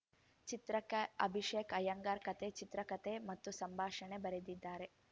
ಚಿತ್ರಕ್ಕೆ ಅಭಿಷೇಕ್‌ ಅಯ್ಯಂಗಾರ್‌ ಕಥೆ ಚಿತ್ರಕಥೆ ಮತ್ತು ಸಂಭಾಷಣೆ ಬರೆದಿದ್ದಾರೆ